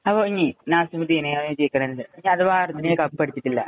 അപ്പൊ ഇനി നാസിമുദ്ദീന്അഥവാ അര്‍ജന്‍റീന കപ്പടിച്ചിട്ടില്ല,